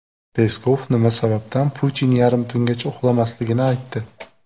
Peskov nima sababdan Putin yarim tungacha uxlamasligini aytdi.